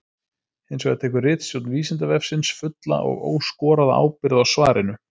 Hins vegar tekur ritstjórn Vísindavefsins fulla og óskoraða ábyrgð á svarinu.